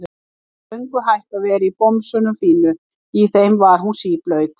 Hún var löngu hætt að vera í bomsunum fínu, í þeim var hún síblaut.